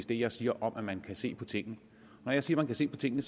det jeg siger om at man kan se på tingene når jeg siger man kan se på tingene